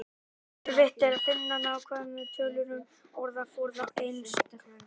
Erfitt er að finna nákvæmar tölur um orðaforða einstaklingsins.